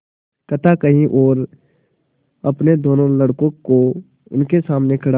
कथा कही और अपने दोनों लड़कों को उनके सामने खड़ा